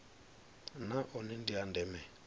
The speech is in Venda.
na one ndi a ndeme